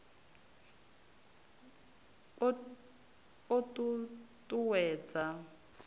o ṱ u ṱ uwedza